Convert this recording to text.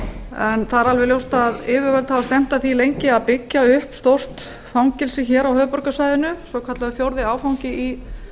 er alveg ljóst að yfirvöld hafa stefnt að því lengi að byggja upp stórt fangelsi á höfuðborgarsvæðinu svokallaður fjórði áfangi í